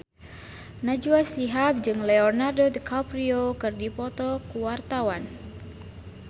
Najwa Shihab jeung Leonardo DiCaprio keur dipoto ku wartawan